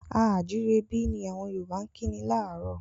A à jírebí! ni àwọn Yorùbá kí ni láárò.